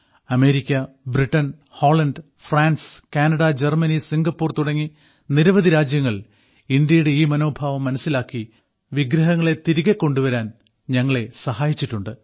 America Britain Holland France Canada Germany Singapore തുടങ്ങി നിരവധി രാജ്യങ്ങൾ ഇന്ത്യയുടെ ഈ മനോഭാവം മനസ്സിലാക്കി വിഗ്രഹങ്ങളെ തിരികെ കൊണ്ടുവരാൻ ഞങ്ങളെ സഹായിച്ചിട്ടുണ്ട്